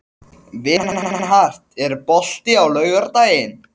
Vilmenhart, er bolti á laugardaginn?